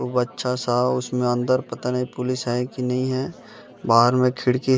को बच्चा सा उसमें अंदर पता नहीं पुलिस है कि नहीं है बाहर में खिड़की --